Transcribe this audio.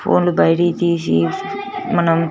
ఫోన్లు లు బయటికి తీసి మనం--